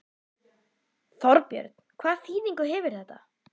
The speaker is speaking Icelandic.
Þorbjörn, hvaða þýðingu hefur þetta?